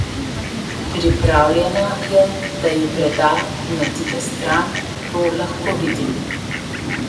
Pripravljena je, da ju preda in odide stran, to lahko vidim.